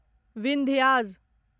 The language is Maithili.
विन्ध्याज़